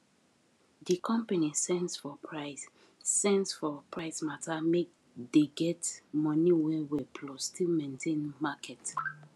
the company sense for price sense for price matter make dey get money well well plus still maintain market